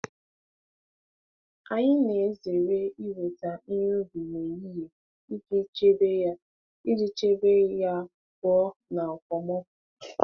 Anyị na-ezere iweta ihe ubi n'ehihie iji chebe ya iji chebe ya pụọ na okpomọkụ.